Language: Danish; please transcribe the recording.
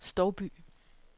Stouby